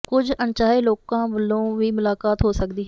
ਕੁੱਝ ਅਨਚਾਹੇ ਲੋਕਾਂ ਵਲੋਂ ਵੀ ਮੁਲਾਕਾਤ ਹੋ ਸਕਦੀ ਹੈ